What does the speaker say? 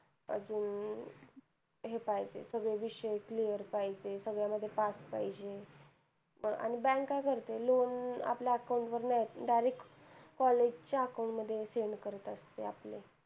अजून हे पाहिजे सगळे विषय clear पाहिजे आणि सगळ्या मध्ये pass पाहिजे आणि bank काय करते ते loan आपल्या account वर नाही येत direct college च्या account मध्ये send करत असते